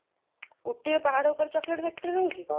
ଉଟ୍ଟିର ପାହାଡ଼ ଉପରେ chocolate factory ରହୁଛି?